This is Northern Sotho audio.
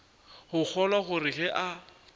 go kgolwa gore ge a